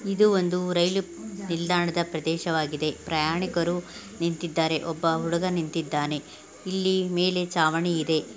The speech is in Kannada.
ಇದು ಒಂದು ರೈಲು ನಿಲ್ದಾಣದ ಪ್ರದೇಶ ವಾಗಿದೆ ಪ್ರಯಾಣಿಕರು ನಿಂತಿದೆರೇ ಒಬ್ಬ ಹುಡುಗ ನಿಂತಿದಾನೆ ಇಲ್ಲಿ ಮೇಲೆ ಚಾವಣಿ ಇದೆ.